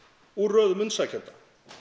úr röðum umsækjenda